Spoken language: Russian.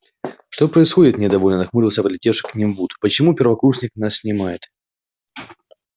что происходит недовольно нахмурился подлетевший к ним вуд почему первокурсник нас снимает